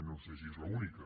no sé si és l’única